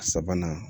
Sabanan